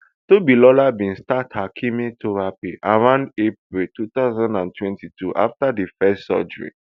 tobiloba bin start her chemotherapy around april two thousand and twenty-two afta di first surgery